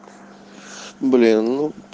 блин ну